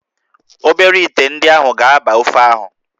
Obere íté ndị ahụ ga-aba ofe ahụ